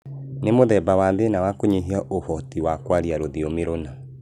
Nĩ mũthemba wa thĩna wa kũnyihia ũhoti wa kwaria rũthiomi rũna